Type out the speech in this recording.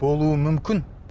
болуы мүмкін